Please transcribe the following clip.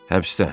Həbsdə.